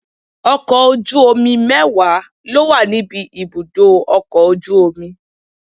Ọkọ̀ ojú omi mẹ́wàá ló wà níbi ibùdó ọkọ̀ ojú omi.